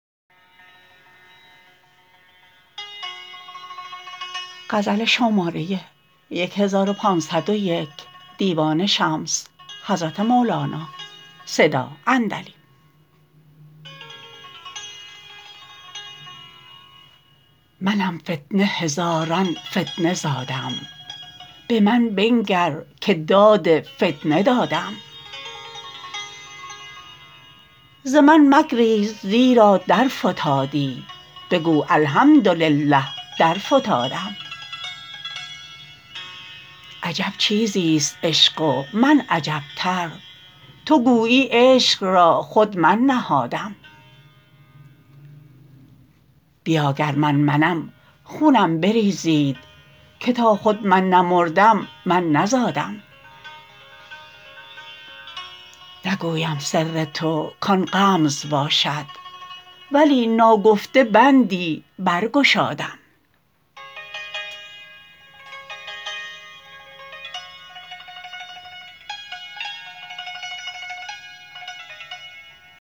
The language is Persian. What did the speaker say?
منم فتنه هزاران فتنه زادم به من بنگر که داد فتنه دادم ز من مگریز زیرا درفتادی بگو الحمدلله درفتادم عجب چیزی است عشق و من عجبتر تو گویی عشق را خود من نهادم بیا گر من منم خونم بریزید که تا خود من نمردم من نزادم نگویم سر تو کان غمز باشد ولی ناگفته بندی برگشادم